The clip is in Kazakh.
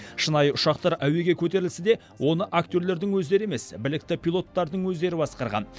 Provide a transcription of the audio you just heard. шынайы ұшақтар әуеге көтерілсе де оны актерлердің өздері емес білікті пилоттардың өздері басқарған